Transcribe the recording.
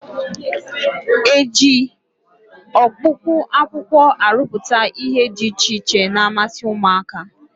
E ji ọkpụkpụ akwụkwọ arụpụta ihe dị iche iche na-amasị ụmụaka?